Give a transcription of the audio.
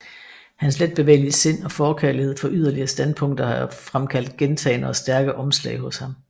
Hans letbevægelige sind og forkærlighed for yderlige standpunkter har fremkaldt gentagne og stærke omslag hos ham